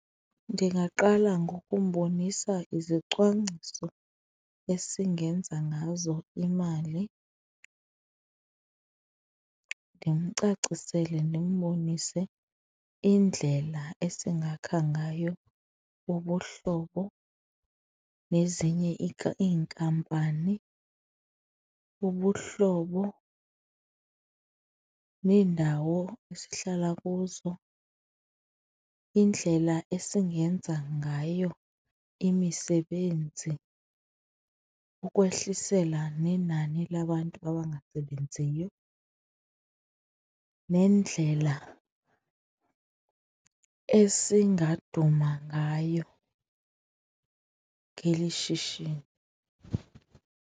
Ndingaqala ngokumbonisa izicwangciso esingenza ngazo imali, ndimcacisele ndimbonise indlela esingakha ngayo ubuhlobo nezinye iinkampani, ubuhlobo neendawo esihlala kuzo, indlela esingenza ngayo imisebenzi ukwehlisela nenani labantu abangasebenziyo nendlela esingaduma ngayo ngelishishini.